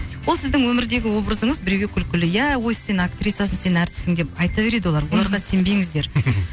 ол сіздің өмірдегі образыңыз біреуге күлкілі ия ой сен актрисасың сен әртіссің деп айта береди олар оларға сенбеңіздер